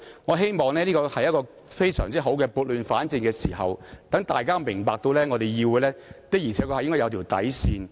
我希望這是撥亂反正的好時機，讓大家明白議會的確應有一條底線，不應輕易被漠視。